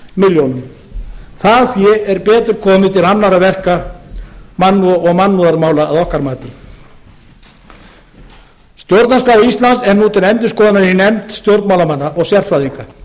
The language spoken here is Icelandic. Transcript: milljónum það fé er betur komið til annarra verka og mannúðarmála að okkar mati stjórnarskrá íslands er nú til endurskoðunar í nefnd stjórnmálamanna og sérfræðinga